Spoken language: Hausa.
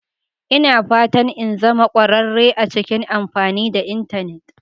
Ina fatan in zama kwararre a cikin amfani da Intanet